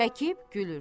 çəkib gülür.